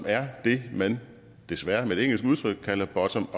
er det man desværre med et engelsk udtryk kalder bottom